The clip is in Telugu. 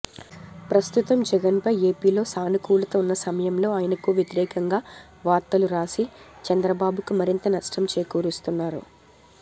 ప్రస్తుతం జగన్ పై ఏపీలో సానుకూలత ఉన్న సమయంలో ఆయనకు వ్యతిరేకంగా వార్తలు రాసి చంద్రబాబుకు మరింత నష్టం చేకూరుస్తున్నారు